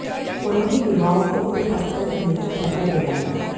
उन्होंने युवाओं को उनके पथ पर चलने की शपथ दिलाई